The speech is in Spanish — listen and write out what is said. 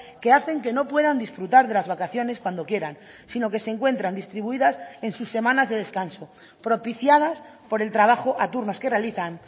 que hacen que no puedan disfrutar de las vacaciones cuando quieran sino que se encuentran distribuidas en sus semanas de descanso propiciadas por el trabajo a turnos que realizan